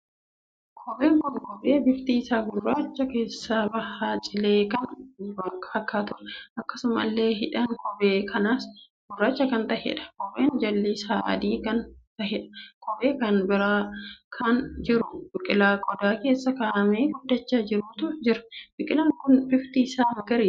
Kopheen kun kophee bifti isaa gurraacha keessaa baha cilee kan fakkaatuudha. akkasumallee hidhaan kophee kanaas gurraacha kan taheedha. kopheen jalli isaa adii kan taheedha. kophee kan biraa kan jiru biqilaa qodaa keessa kaa'amee guddachaa jiruutu jira. biqilaan kun bifti isaa magariisa.